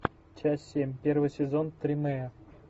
часть семь первый сезон тримея